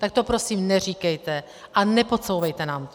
Tak to prosím neříkejte a nepodsouvejte nám to.